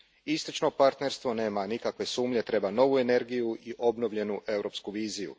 Istočno partnerstvo, nema nikakve sumnje, treba novu energiju i obnovljenu europsku viziju.